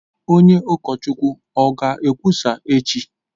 Onye ukọchukwu o ga-ekwusa echi?